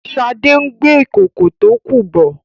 shade ngbé Ìkòkò tó kú bò.